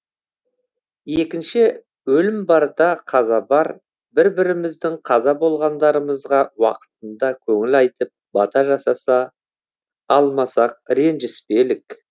екінші өлім бар да қаза бар бір біріміздің қаза болғандарымызға уақытында көңіл айтып бата жасаса алмасақ ренжіспелік